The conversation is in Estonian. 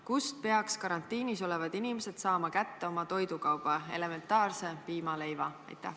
Kust peaks karantiinis olevad inimesed saama kätte oma toidukauba, elementaarse piima-leiva?"